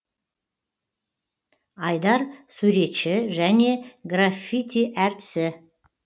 айдар суретші және граффити әртісі